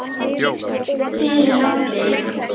Fyrir hádegi.